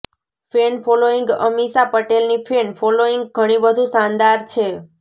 fan ફોલોઈંગઅમીષા પટેલની fan following ઘણી વધુ શાનદાર છે